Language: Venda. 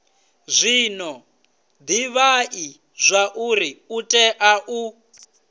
zwino divhai zwauri utea u